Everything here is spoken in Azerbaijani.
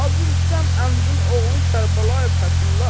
Hacı Rüstəm Əmvin oğlu Kərbəlayı Fəthullah?